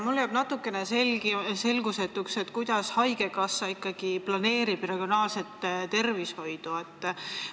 Mulle jääb natukene selgusetuks, kuidas haigekassa regionaalset tervishoidu planeerib.